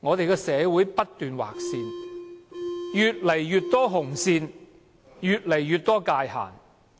我們的社會不斷劃線，越來越多紅線，越來越多界限。